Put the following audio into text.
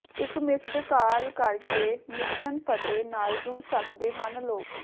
ਇੱਕ missed call ਕਰਕੇ mission Fateh ਨਾਲ ਜੁੜ ਸਕਦੇ ਹਨ ਲੋਕ